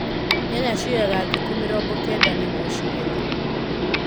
Nyanya cioyaga thikũ mĩrongo kenda nĩguo cigetwo.